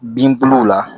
Bin buluw la